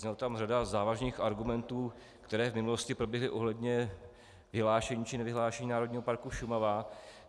Zazněla tam řada závažných argumentů, které v minulosti proběhly ohledně vyhlášení či nevyhlášení Národního parku Šumava.